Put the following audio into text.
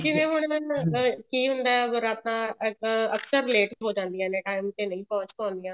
ਜਿਵੇਂ ਹੁਣ ਅਹ ਕੀ ਹੁੰਦਾ ਬਰਾਤਾਂ ਅਕ ਅਕਸਰ late ਹੋ ਜਾਂਦੀਆਂ ਨੇ time ਤੇ ਨਹੀਂ ਪਹੁੰਚ ਦੀਆਂ